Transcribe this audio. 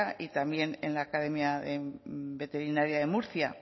y también en la academia veterinaria de murcia